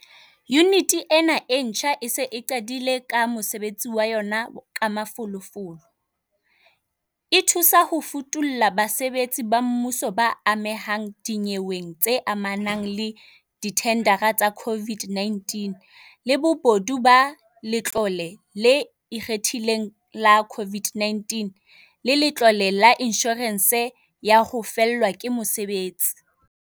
Yuniti ena e ntjha e se e qadile ka mosebetsi wa yona ka mafolofolo, e thusa ho futulla basebetsi ba mmuso ba amehang dinyeweng tse amanang le dithendara tsa COVID-19, le bobodu ba Letlole le Ikgethileng la COVID-19 le Letlole la Inshorense ya ho Fellwa ke Mosebetsi.